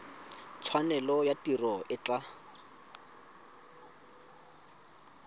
tshwanelo ya tiro e tla